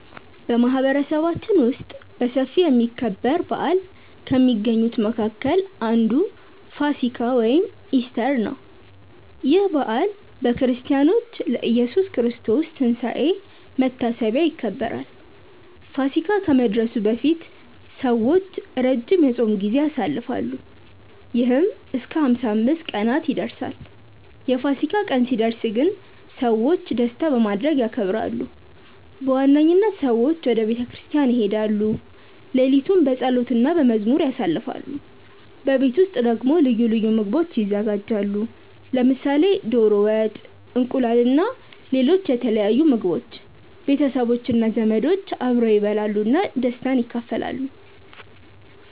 በማህበረሰባችን ውስጥ በሰፊ የሚከበር በዓል ከሚገኙት መካከል አንዱ ፋሲካ (ኢስተር) ነው። ይህ በዓል በክርስቲያኖች ለኢየሱስ ክርስቶስ ትንሳኤ መታሰቢያ ይከበራል። ፋሲካ ከመድረሱ በፊት ሰዎች ረጅም የጾም ጊዜ ያሳልፋሉ፣ ይህም እስከ 55 ቀናት ይደርሳል። የፋሲካ ቀን ሲደርስ ግን ሰዎች ደስታ በማድረግ ያከብራሉ። በዋነኝነት ሰዎች ወደ ቤተ ክርስቲያን ይሄዳሉ፣ ሌሊቱን በጸሎት እና በመዝሙር ያሳልፋሉ። በቤት ውስጥ ደግሞ ልዩ ምግቦች ይዘጋጃሉ፣ ለምሳሌ ዶሮ ወጥ፣ እንቁላል እና ሌሎች የተለያዩ ምግቦች። ቤተሰቦች እና ዘመዶች አብረው ይበላሉ እና ደስታን ይካፈላሉ።